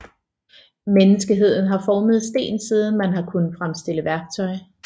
Menneskeheden har formet sten siden man har kunnet fremstille værktøj